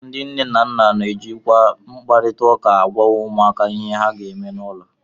Ndị nne na nna na-ejikwa mkparịta ụka agwa ụmụaka ihe ha ga-eme n'ụlọ